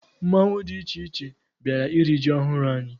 Mmanwụ dị iche iche bịara iri ji ọhụrụ anyị.